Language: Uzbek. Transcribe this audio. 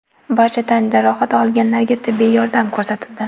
Barcha tan jarohati olganlarga tibbiy yordam ko‘rsatildi.